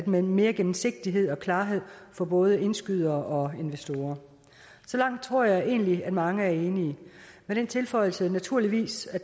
med mere gennemsigtighed og klarhed for både indskydere og investorer så langt tror jeg egentlig at mange er enige med den tilføjelse naturligvis at